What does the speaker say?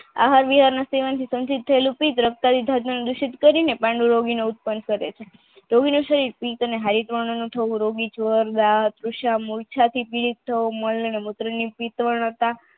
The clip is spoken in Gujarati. દુષિત કરીને પાંડુરંગો ની ઉત્પન્ન કરે છે